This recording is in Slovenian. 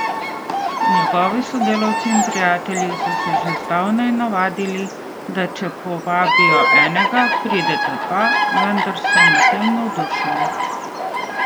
Njegovi sodelavci in prijatelji so se že zdavnaj navadili, da če povabijo enega, prideta dva, vendar so nad tem navdušeni.